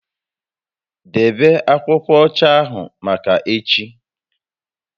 Debe akwụkwọ ọcha ahụ maka echi